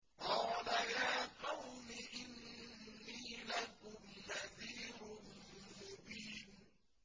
قَالَ يَا قَوْمِ إِنِّي لَكُمْ نَذِيرٌ مُّبِينٌ